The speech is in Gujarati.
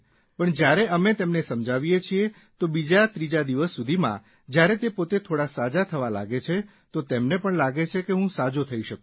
પણ જયારે અમે તેમને સમજાવીએ છીએ તો બીજાત્રીજા દિવસ સુધીમાં જયારે તે પોતે થોડા સાજા થવા લાગે છે તો તેમને પણ લાગે છે કે હું સાજો થઇ શકું છું